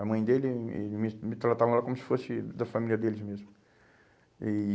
A mãe dele, ele me me tratavam como se fosse da família deles mesmo. E